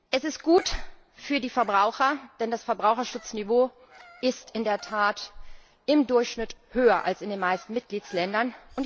Es ist gut für die Verbraucher, denn das Verbraucherschutzniveau ist in der Tat im Durchschnitt höher als in den meisten Mitgliedsländern.